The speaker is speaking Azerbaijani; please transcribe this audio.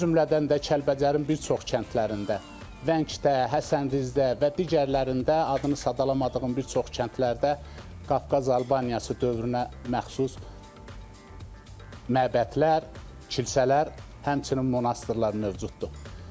O cümlədən də Kəlbəcərin bir çox kəndlərində, Vəngdə, Həsəndizdə və digərlərində adını sadalamadığım bir çox kəndlərdə Qafqaz Albaniyası dövrünə məxsus məbədlər, kilsələr, həmçinin monastırlar mövcuddur.